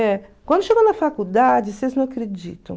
É. Quando chegou na faculdade, vocês não acreditam.